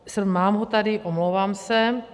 Mám ho tady, omlouvám se.